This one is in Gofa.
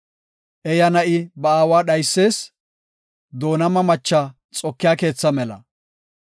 Eeya na7i ba aawa dhaysees; doonama macha xokiya keetha mela.